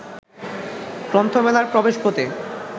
গ্রন্থমেলার প্রবেশপথে